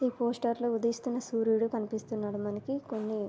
ఈ పోస్టర్ లో ఉదయిస్తున్న సూర్యుడు కనిపిస్తున్నాడు మనకి. కొన్ని --